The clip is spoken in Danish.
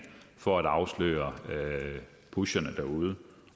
for at afsløre pusherne derude